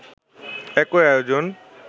একই আয়োজন